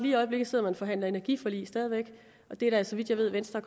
i øjeblikket sidder og forhandler energiforlig og det er da så vidt jeg ved venstre